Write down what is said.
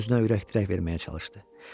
Özünə ürək-dirək verməyə çalışdı.